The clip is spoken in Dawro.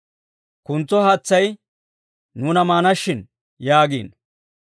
kuntso haatsay nuuna maana shin» yaagino.